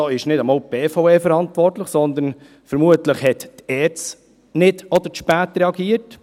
Es ist nicht einmal die BVE verantwortlich, sondern die ERZ hat vermutlich nicht oder zu spät reagiert.